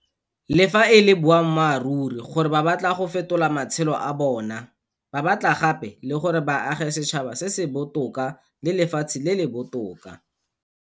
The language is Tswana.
Le fa e le boammaruri gore ba batla go fetola matshelo a bona, ba batla gape le gore ba age setšhaba se se botoka le lefatshe le le botoka.